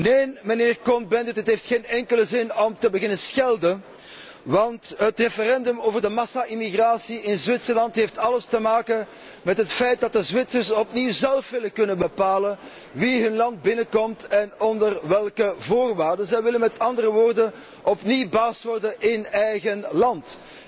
Neen, mijnheer Cohn Bendit, het heeft geen enkele zin om te beginnen schelden, want het referendum over de massa emigratie in Zwitserland heeft alles te maken met het feit dat de Zwitsers opnieuw zélf willen kunnen bepalen wie hun land binnenkomt en onder welke voorwaarden. Zij willen met andere woorden opnieuw baas worden in eigen land.